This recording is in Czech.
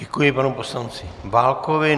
Děkuji panu poslanci Válkovi.